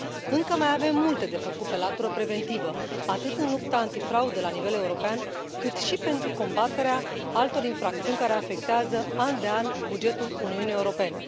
Încă mai avem multe de făcut pe latură preventivă atât în lupta antifraudă la nivel european, cât și pentru combaterea altor infracțiuni care afectează, an de an, bugetul Uniunii Europene.